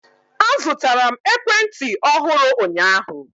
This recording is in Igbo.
Azụtara m ekwentị ọhụrụ ụnyaahụ.